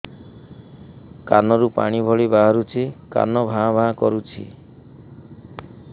କାନ ରୁ ପାଣି ଭଳି ବାହାରୁଛି କାନ ଭାଁ ଭାଁ କରୁଛି